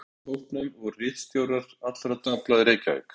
Meðal einstaklinga í hópnum voru ritstjórar allra dagblaða í Reykjavík.